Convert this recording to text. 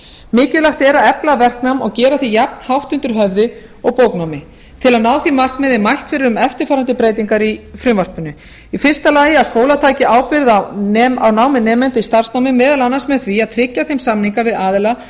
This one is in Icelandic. mikilvægt er að efla verknám og gera því jafnhátt undir höfði og bóknámi til að ná því markmiði er mælt fyrir um eftirfarandi breytingar í frumvarpinu í fyrsta lagi að skólar taki ábyrgð á námi nemanda í starfsnámi meðal annars með því að tryggja þeim samninga við aðila